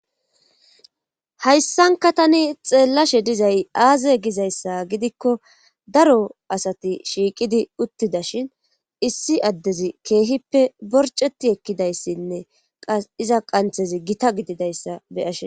hayssanka tani xeellashe dizay aaze gizayssa gidikko daro asati shiiqidi uttida shin issi addezi keehippe borceti ekkidayssinne qas iza qanthezi gita gididayssa beyashin